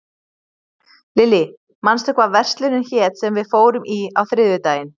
Lilly, manstu hvað verslunin hét sem við fórum í á þriðjudaginn?